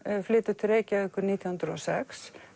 flytur til Reykjavíkur nítján hundruð og sex